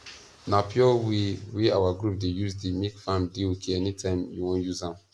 na pure way wey our group dey use dey make farm dey okay anytime you wan use am